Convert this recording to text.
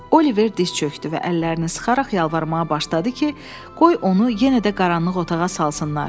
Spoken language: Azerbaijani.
Oliver diz çökdü və əllərini sıxaraq yalvarmağa başladı ki, qoy onu yenə də qaranlıq otağa salsınlar.